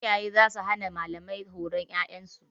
Iyaye za su hana malamai horon ƴaƴan su.